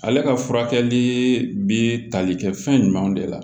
Ale ka furakɛli bɛ tali kɛ fɛn jumɛn de la